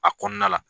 A kɔnɔna la